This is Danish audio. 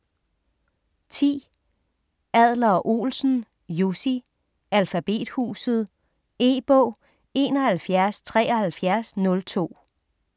10. Adler-Olsen, Jussi: Alfabethuset E-bog 717302